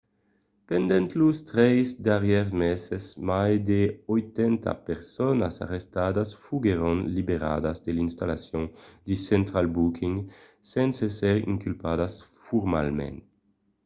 pendent los 3 darrièrs meses mai de 80 personas arrestadas foguèron liberadas de l'installacion de central booking sens èsser inculpadas formalament